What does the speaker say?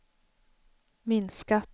minskat